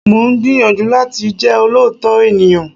Mo ń gbìyànjú láti jẹ́ olóòótọ́ ènìyàn